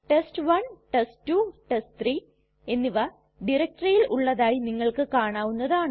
test one test two test three എന്നിവ ഡയറക്ടറിയിൽ ഉള്ളതായി നിങ്ങൾക്ക് കാണാവുന്നതാണ്